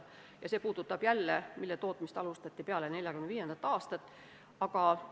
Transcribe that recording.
See ettepanek puudutab taas neid padrunimudeleid, mille tootmist alustati peale 1945. aastat.